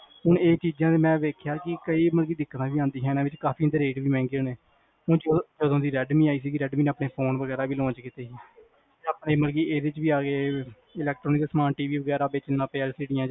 ਹੁਣ ਇਹ ਚੀਜ਼ਾਂ ਮੈ ਵੇਖਿਆ ਕਿ ਕਈ ਮਤਲਬ ਦਿਖਾਈਆਂ ਜਾਂਦੀਆਂ ਨੇ ਕਾਫੀ ਓਹਨਾ ਦੇ ਰੇਟ ਵੀ ਮਹਿੰਗੇ ਨੇ ਹੁਣ ਜਦੋ ਦੀ ਰੇਡਮੀ ਆਈ ਸੀ ਰੇਡਮੀ ਨੇ ਆਪਣੇ ਫ਼ੋਨ ਵਗੈਰਾ ਵੀ launch ਕੀਤੇ ਸੀ ਆਪਣੇ ਮਤਲਬ ਕ ਇਹਦੇ ਚ ਵੀ ਆਗੇ electronics ਸਾਮਾਨ TV ਵਗੈਰਾ ਵੇਚਣ ਲੱਗ ਪਏ